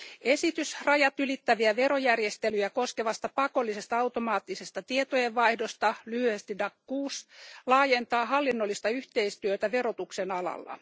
Esitys rajatylittäviä verojärjestelyjä koskevasta pakollisesta automaattisesta tietojenvaihdosta, lyhyesti DAC6, laajentaa hallinnollista yhteistyötä verotuksen alalla.